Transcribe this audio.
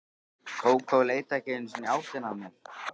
Kókó leit ekki einu sinni í áttina að mér.